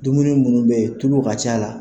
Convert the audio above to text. Dumuni minnu bɛyen tulu ka c'a la.